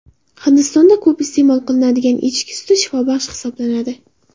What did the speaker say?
Hindistonda ko‘p iste’mol qilinadigan echki suti shifobaxsh hisoblanadi.